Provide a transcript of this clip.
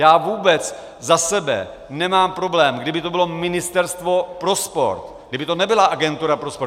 Já vůbec za sebe nemám problém, kdyby to bylo Ministerstvo pro sport, kdyby to nebyla agentura pro sport.